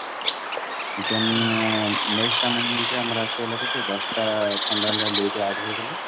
ଆମର ଆସିଗଲା କେତେ ଦଶଟା fundamental duties add ହେଇଗଲା